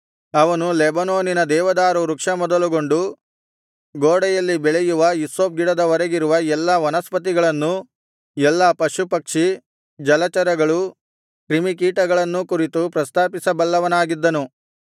ಅವನು ಲೆಬನೋನಿನ ದೇವದಾರು ವೃಕ್ಷ ಮೊದಲುಗೊಂಡು ಗೋಡೆಯಲ್ಲಿ ಬೆಳೆಯುವ ಹಿಸ್ಸೋಪ್ ಗಿಡದವರೆಗಿರುವ ಎಲ್ಲಾ ವನಸ್ಪತಿಗಳನ್ನೂ ಎಲ್ಲಾ ಪಶುಪಕ್ಷಿ ಜಲಚರಗಳು ಕ್ರಿಮಿಕೀಟಗಳನ್ನೂ ಕುರಿತು ಪ್ರಸ್ತಾಪಿಸ ಬಲ್ಲವನಾಗಿದ್ದನು